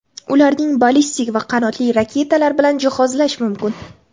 Ularni ballistik va qanotli raketalar bilan jihozlash mumkin.